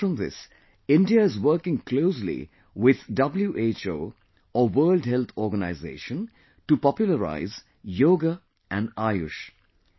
Apart from this, India is working closely with WHO or World Health Organization to popularize Yoga and AYUSH